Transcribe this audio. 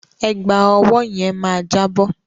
Ẹ̀gbà ọwọ́ yẹn máa jábọ́.